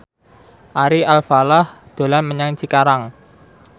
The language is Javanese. Ari Alfalah dolan menyang Cikarang